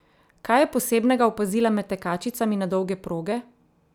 Kaj je posebnega opazila med tekačicami na dolge proge?